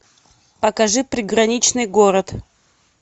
покажи приграничный город